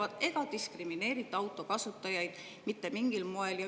Autokasutajaid ei diskrimineerita mitte mingil moel.